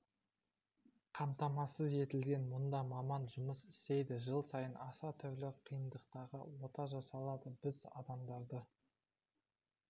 қамтамасыз етілген мұнда маман жұмыс істейді жыл сайын аса түрлі қиындықтағы ота жасалады біз адамдарды